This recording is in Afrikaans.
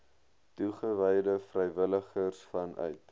toegewyde vrywilligers vanuit